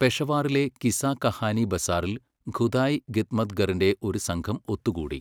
പെഷവാറിലെ കിസ്സാ കഹാനി ബസാറിൽ ഖുദായ് ഖിദ്മത്ഗറിന്റെ ഒരു സംഘം ഒത്തുകൂടി.